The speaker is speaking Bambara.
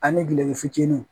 Ani gele fitinin